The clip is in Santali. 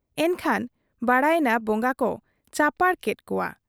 ᱮᱱᱠᱷᱟᱱ ᱵᱟᱰᱟᱭᱮᱱᱟ ᱵᱚᱜᱟ ᱠᱚ ᱪᱟᱯᱟᱲ ᱠᱮᱫ ᱠᱚᱣᱟ ᱾